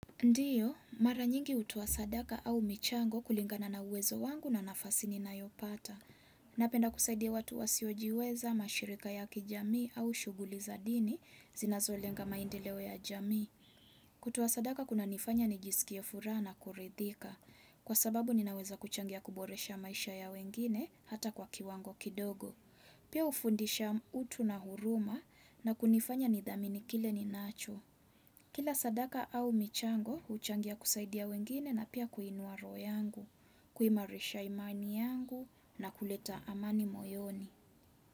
Ndiyo, mara nyingi hutua sadaka au michango kulingana na uwezo wangu na nafasi ninayopata. Napenda kusaidia watu wasiojiweza, mashirika ya kijamii au shughuli za dini, zinazolenga maendeleo ya jamii. Kutoa sadaka kunanifanya nijisikie furaha na kuridhika. Kwa sababu ninaweza kuchangia kuboresha maisha ya wengine hata kwa kiwango kidogo. Pia hufundisha utu na huruma na kunifanya nithamini kile ninacho. Kila sadaka au michango, huchangia kusaidia wengine na pia kuinua roho yangu, kuimarisha imani yangu na kuleta amani moyoni.